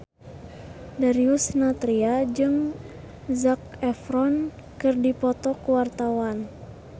Darius Sinathrya jeung Zac Efron keur dipoto ku wartawan